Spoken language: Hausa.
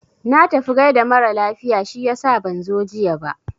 Na tafi gaida mara lafiya shiyasa ban zo jiya ba.